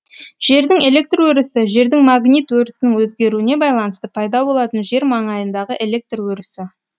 жердің электр өрісі жердің магнит өрісінің өзгеруіне байланысты пайда болатын жер маңайындағы электр өрісі